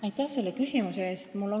Aitäh selle küsimuse eest!